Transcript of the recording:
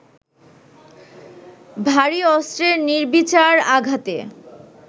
ভারী অস্ত্রের নির্বিচার আঘাতে